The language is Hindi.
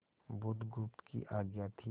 बुधगुप्त की आज्ञा थी